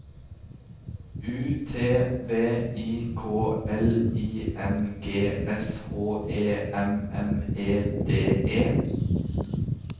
U T V I K L I N G S H E M M E D E